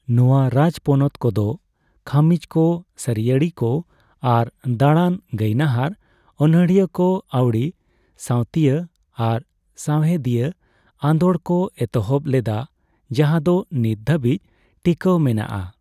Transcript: ᱱᱚᱣᱟ ᱨᱟᱡᱽᱯᱚᱱᱚᱛ ᱠᱚ ᱫᱚ ᱠᱷᱟᱹᱢᱤᱡ ᱠᱚ ᱥᱟᱹᱨᱤᱭᱟᱹᱲᱤᱠᱚ ᱟᱨ ᱫᱟᱲᱟᱱ ᱜᱟᱹᱭᱱᱟᱹᱦᱟᱨᱼᱚᱱᱚᱬᱦᱤᱭᱟᱹ ᱠᱚ ᱟᱣᱰᱤ, ᱥᱟᱣᱛᱤᱭᱟᱹ ᱟᱨ ᱥᱟᱣᱦᱮᱫᱤᱭᱟᱹ ᱟᱸᱫᱳᱲ ᱠᱚ ᱮᱛᱚᱦᱚᱵ ᱞᱮᱫᱟ ᱡᱟᱦᱟᱸ ᱫᱚ ᱱᱤᱛ ᱫᱷᱟᱵᱤᱡ ᱴᱤᱠᱟᱹᱣ ᱢᱮᱱᱟᱜᱼᱟ ᱾